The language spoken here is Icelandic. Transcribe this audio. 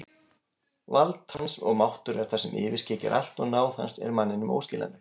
Vald hans og máttur er það sem yfirskyggir allt og náð hans er manninum óskiljanleg.